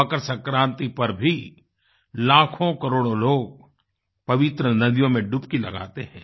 मकर संक्रान्ति पर भी लाखोंकरोड़ों लोग पवित्र नदियों में डुबकी लगाते हैं